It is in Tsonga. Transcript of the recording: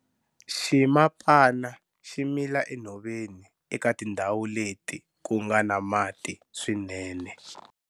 Ximapana xi mila enhoveni eka tindhawu leti ku nga na mati swinene.